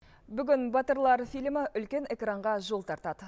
бүгін батырлар фильмі үлкен экранға жол тартады